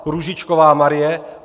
Růžičková Marie